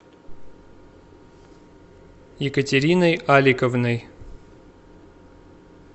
екатериной аликовной